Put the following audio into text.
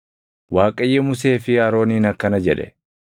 Waaqayyo Musee fi Arooniin akkana jedhe;